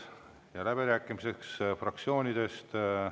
Avan läbirääkimised fraktsioonidele.